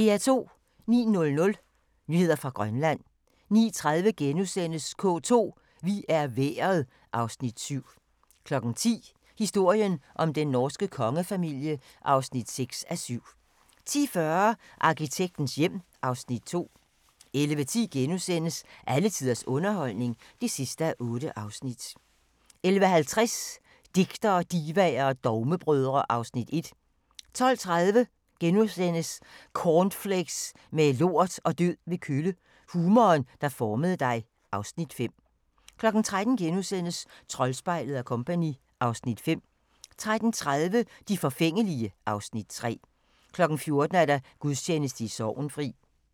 09:00: Nyheder fra Grønland 09:30: K2: Vi er vejret (Afs. 7)* 10:00: Historien om den norske kongefamilie (6:7) 10:40: Arkitektens hjem (Afs. 2) 11:10: Alle tiders underholdning (8:8)* 11:50: Digtere, divaer og dogmebrødre (Afs. 1) 12:30: Cornflakes med lort og død ved kølle – humoren, der formede dig (Afs. 5)* 13:00: Troldspejlet & Co. (Afs. 5)* 13:30: De forfængelige (Afs. 3) 14:00: Gudstjeneste i Sorgenfri